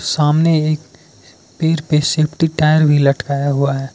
सामने एक पेड़ पे सेफ्टी टायर भी लटकाया हुआ है।